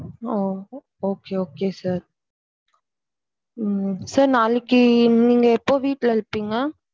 Okay okay sir sir நாளைக்கு நீங்க எப்போ வீட்டுல இருப்பீங்க.